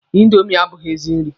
Indomi abụghị ezigbo nri.